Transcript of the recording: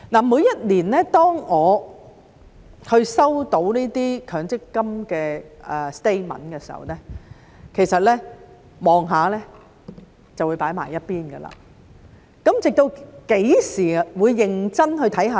每年當我收到強積金的 statement 時，其實看一看便會放在一旁，直到何時才會認真地看呢？